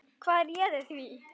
Hvað réði því?